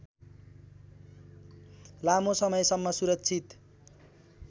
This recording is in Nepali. लामो समयसम्म सुरक्षित